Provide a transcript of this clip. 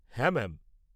-হ্যাঁ ম্যাম।